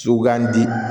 So k'an di